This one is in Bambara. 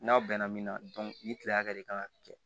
N'aw bɛn na min na ni kile hakɛ de kan ka kɛ